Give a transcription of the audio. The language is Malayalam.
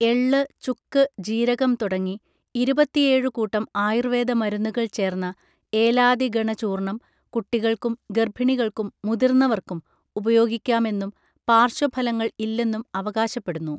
എള്ള് ചുക്ക് ജീരകം തുടങ്ങി ഇരുപത്തിയേഴു കൂട്ടം ആയുർവേദ മരുന്നുകൾ ചേർന്ന ഏലാദിഗണചൂർണം കുട്ടികൾക്കും ഗർഭിണികൾക്കും മുതിർന്നവർക്കും ഉപയോഗിക്കാമെന്നും പാർശ്വ ഫലങ്ങൾ ഇല്ലെന്നും അവകാശപ്പെടുന്നു